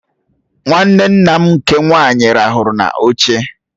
Nwanne nne m nke nwaanyị ràhụrụ n'oche